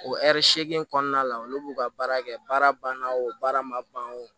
O ɛri segin kɔnɔna la olu b'u ka baara kɛ baara banna o baara ma ban o